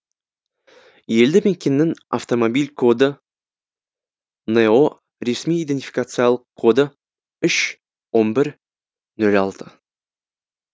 елді мекеннің автомобиль коды но ресми идентификациялық коды үш он бір нөл алты